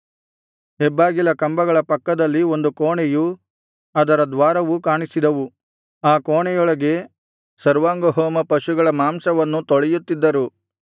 ಹೆಬ್ಬಾಗಿಲ ಕಂಬಗಳ ಪಕ್ಕದಲ್ಲಿ ಒಂದು ಕೋಣೆಯೂ ಅದರ ದ್ವಾರವೂ ಕಾಣಿಸಿದವು ಆ ಕೋಣೆಯೊಳಗೆ ಸರ್ವಾಂಗಹೋಮ ಪಶುಗಳ ಮಾಂಸವನ್ನು ತೊಳೆಯುತ್ತಿದ್ದರು